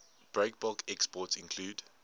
breakbulk exports include